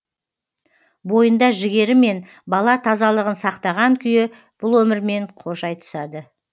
бойында жігері мен бала тазалығын сақтаған күйі бұл өмірмен қош айтысады